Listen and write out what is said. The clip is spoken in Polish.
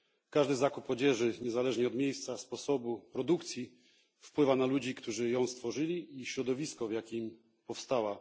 Każdy zakup odzieży niezależnie od miejsca i sposobu produkcji wpływa na ludzi, którzy ją stworzyli, i środowisko, w jakim powstała.